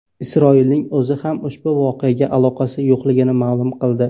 Isroilning o‘zi ham ushbu voqeaga aloqasi yo‘qligini ma’lum qildi.